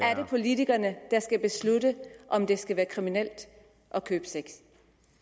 er det politikerne der skal beslutte om det skal være kriminelt at købe sex